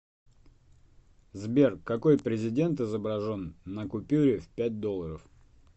сбер какой президент изображен на купюре в пять долларов